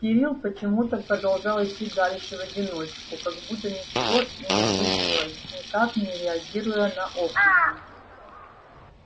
кирилл почему-то продолжал идти дальше в одиночку как будто ничего и не случилось никак не реагируя на окрики